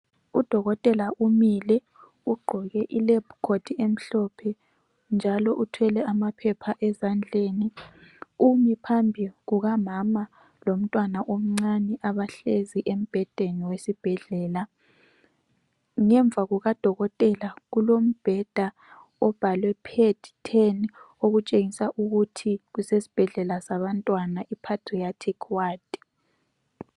Udokotela umile ugqoke ilab court emhlophe njalo uthwele amaphepha ezandleni. Umi phambi kukamama lomntwana omncane abahlezi embhedeni wesibhedlela. Ngemva kukadokotela kulombheda obhalwe Ped 10 okutshengisa ukuthi kusesibhedlela sabantwana iPadreatic Ward.